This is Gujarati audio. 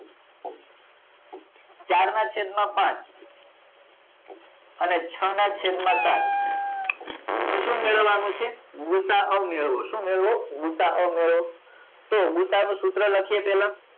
ચાર ના છેદ માં પાંચ અને અને છ ના છેદ માં ચાર ને સુ મેળવવા નું છે ગુસા અ મેળવો શું મેળવો ગુ સા અ મેળવો તો ગુસા નું સૂત્ર લખીએ પેલા